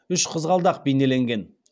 үш қызғалдақ бейнеленген